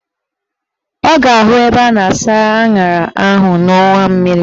Ọ ga-ahụ ebe a na-asa aṅara ahụ n'ọnwa mmiri